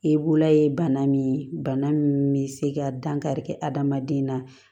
E bolola ye bana min ye bana min bɛ se ka dankari kɛ adamaden na